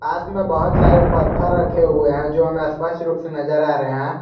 हाथ में बहुत सारे पत्थर रखे हुए हैं जो हमें स्पष्ट रूप से नजर आ रहे हैं।